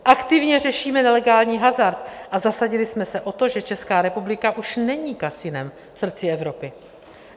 Aktivně řešíme nelegální hazard a zasadili jsme se o to, že Česká republika už není kasinem v srdci Evropy.